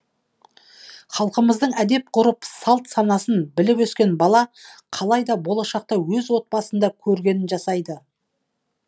халқымыздың әдеп ғұрпын салт санасын біліп өскен бала қалай да болашақта өз отбасында көргенін жасайды